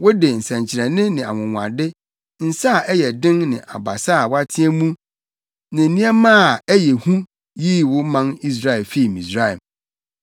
Wode nsɛnkyerɛnne ne anwonwade, nsa a ɛyɛ den ne abasa a wɔateɛ mu ne nneɛma ɛyɛ hu yii wo man Israel fii Misraim.